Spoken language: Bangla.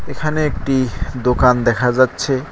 এখানে একটি দোকান দেখা যাচ্ছে।